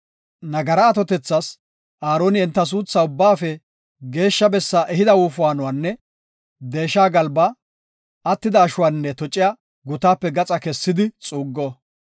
Nagara atotethas Aaroni enta suuthaa Ubbaafe Geeshsha bessaa ehida wofaanuwanne deesha galbaa, attida ashuwanne tociya gutaape gaxa kessidi xuuggo.